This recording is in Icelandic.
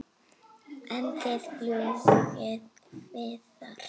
En þið fljúgið víðar?